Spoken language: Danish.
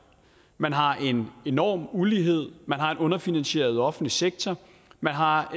man har en enorm ulighed man har en underfinansieret offentlig sektor man har